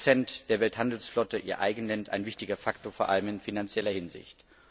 40 Prozent der Welthandelsflotte ihr Eigen nennt, ist das ein wichtiger Faktor, vor allem in finanzieller Hinsicht.